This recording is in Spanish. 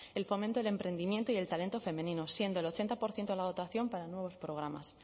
el fomento del emprendimiento y el talento femenino siendo el ochenta por ciento la dotación para nuevos programas